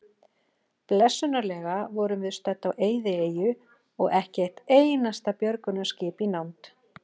Blessunarlega vorum við stödd á eyðieyju og ekki eitt einasta björgunarskip í nánd.